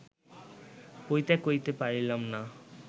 পরিত্যাগ করিতে পারিলাম না